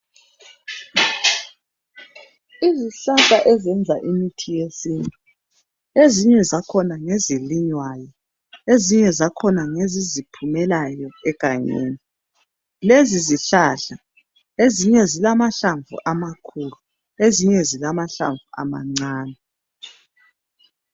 Izihlahla ezenza imithi yesintu ezinye zakhona ngezilinywayo ezinye zakhona ngeziziphumelayo egangeni. Lezizihlahla ezinye zilamahlamvu amakhulu ezinye zilamahlamvu amancane.